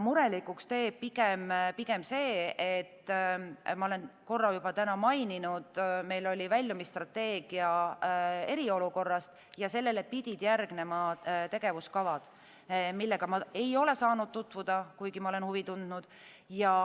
Murelikuks teeb pigem see – ma olen seda täna korra juba maininud –, et meil oli väljumisstrateegia eriolukorrast ja sellele pidid järgnema tegevuskavad, millega ma ei ole saanud tutvuda, kuigi ma olen huvi tundnud.